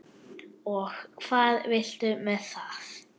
Og hvað viltu með það?